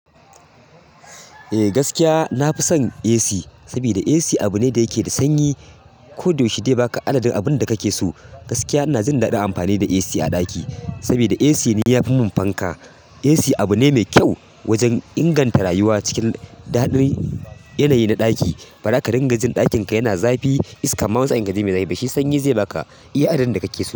Eh gaskiya, na fi son AC saboda AC abu ne da yake da sanyi. Koda yaushe bai baka adadin abun da kake so. Gaskiya, ina jin daɗin amfani da AC a ɗaki, saboda AC ne ya fi mun fanka. AC abu ne mai kyau wajen inganta rayuwa cikin daɗin yanayi na ɗaki. Faɗa ka ringa jin ɗakin ka yana zafi, iska ma wasu aikin zai mai zafi, shi sanyi ze baka iya adadin da kake so.